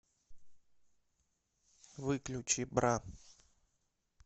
выключи бра